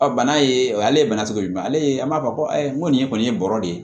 bana ye o ale ye bana cogo ɲuman ale ye an b'a fɔ ko n ko nin ye kɔni ye bɔrɔ de ye